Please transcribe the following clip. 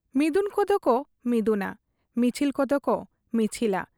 ᱢᱤᱫᱩᱱ ᱠᱚᱫᱚᱠᱚ ᱢᱤᱫᱩᱱᱟ, ᱢᱤᱪᱷᱤᱞ ᱠᱚᱫᱚᱠᱚ ᱢᱤᱪᱷᱤᱞᱟ ᱾